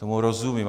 Tomu rozumím.